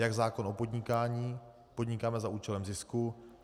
Jak zákon o podnikání - podnikáme za účelem zisku.